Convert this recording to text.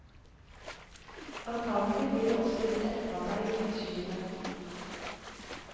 Antagelig blir det også litt etterarbeid ute i skjulet.